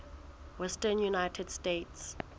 western united states